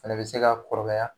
Fɛnɛ be se ka kɔrɔbaya